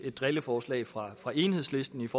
et drilleforslag fra fra enhedslistens